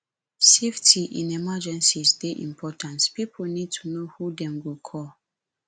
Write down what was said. safety in emergencies dey important pipo need to know who dem go call